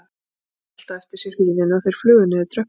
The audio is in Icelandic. Benni skellti á eftir sér hurðinni og þeir flugu niður tröppurnar.